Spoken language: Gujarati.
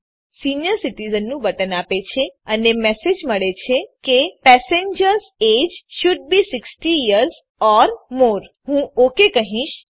તો તે આપણને સીનિયર સિટિઝન નું બટન આપે છે અને મને મેસેજ મળે છે કે passengers age should be 60 years or more હું ઓકાય કહીશ